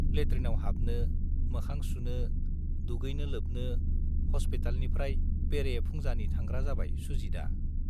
लेट्रिनाव हाबनो, मोखां सुनो, दुगैनो-लोबनो हस्पितालनिफ्राय बेरे-फुंजानि थांग्रा जाबाय सुजितआ।